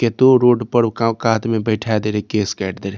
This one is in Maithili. केतो रोड पर उ का कात में बैठा दे रहे केश काएट दे रहे।